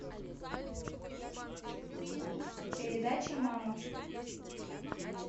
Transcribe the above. передача мама